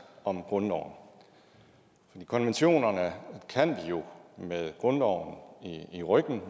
om grundloven konventionerne kan vi jo med grundloven i ryggen og